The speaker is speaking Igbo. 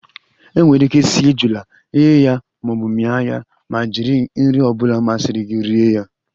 E nwere ike sie ejula, ghe ya maọbụ mia ya ma jiri nri ọbula masiri gi rie ya